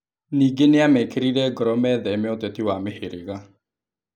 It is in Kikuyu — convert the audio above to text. Ningĩ nĩ amekĩrire ngoro mĩtheme ũteti wa mĩhĩrĩga.